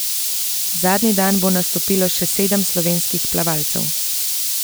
Zadnji dan bo nastopilo še sedem slovenskih plavalcev.